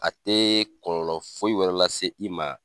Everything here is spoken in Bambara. A tɛ kɔlɔlɔ foyi wɛrɛ lase i ma.